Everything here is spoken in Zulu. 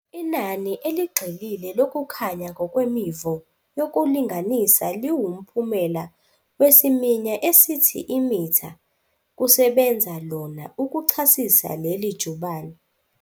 Inani eligxilile lokukhanya ngokwemivo yokulinganisa liwumphumela wesiminya esithi imitha kusebenza lona ukuchasisa leli jubane.